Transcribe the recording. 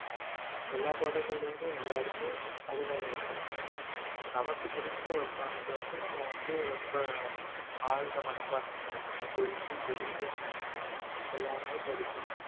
எல்லா பாடங்களிலையுமே எல்லாருமே அறிவாளியா இருக்க மாட்டாங்க நமக்கு பிடித்த ஒரு பாடத்துல வந்து நம்ம வந்து ரொம்ப ஆழ்ந்த மனப்பான்மையோட நம்ம புரிஞ்சு தெரிஞ்சு அறிந்து எல்லாமே படிக்கணும்